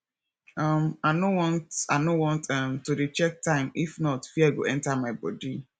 um i no want i no want um to dey check time if not fear go enter my body